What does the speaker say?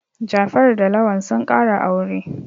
Jafaru da Lawal sun ƙara aure.